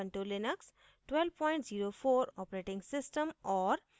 Ubuntu Linux 1204 operating system और